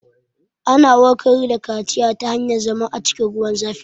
Ana warkar da kaciya ta hanyar zama a cikin ruwan zafi